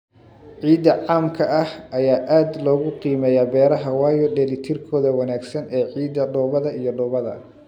Ciidda caamka ah ayaa aad loogu qiimeeyaa beeraha, waayo dheellitirkooda wanaagsan ee ciidda, dhoobada iyo dhoobada.